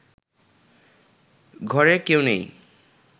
ঘরে কেউ নেই